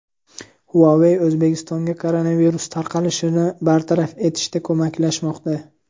Huawei O‘zbekistonga koronavirus tarqalishini bartaraf etishda ko‘maklashmoqda.